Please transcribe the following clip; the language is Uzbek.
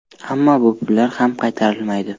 Ammo bu pullar ham qaytarilmaydi.